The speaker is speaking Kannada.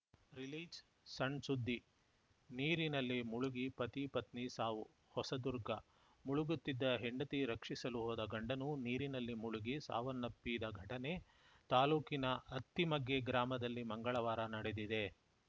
ರಿಲೀಜ್‌ಸಣ್‌ಸುದ್ದಿ ನೀರಿನಲ್ಲಿ ಮುಳುಗಿ ಪತಿಪತ್ನಿ ಸಾವು ಹೊಸದುರ್ಗ ಮುಳುಗುತ್ತಿದ್ದ ಹೆಂಡತಿ ರಕ್ಷಿಸಲು ಹೊದ ಗಂಡನೂ ನೀರಿನಲ್ಲಿ ಮುಳುಗಿ ಸಾವನ್ನಪ್ಪಿದ ಘಟನೆ ತಾಲೂಕಿನ ಅತ್ತಿಮಗ್ಗೆ ಗ್ರಾಮದಲ್ಲಿ ಮಂಗಳವಾರ ನಡೆದಿದೆ